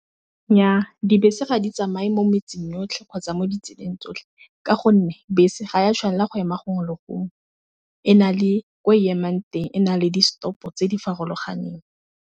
Nnyaa dibese ga di tsamaye mo metseng yotlhe kgotsa mo ditseleng tsotlhe ka gonne bese ga ya tshwanela go ema gongwe le gongwe, e na le ko emang teng e na le di-stop tse di farologaneng.